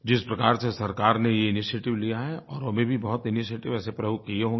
जिस प्रकार से सरकार ने ये इनिशिएटिव लिया है औरो ने भी बहुत इनिशिएटिव ऐसे प्रयोग किए होंगे